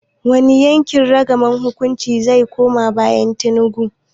Wani yanki ragamar shugabancin zai koma bayan Tinubu?